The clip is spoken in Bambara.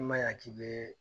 N ma ɲan k'i be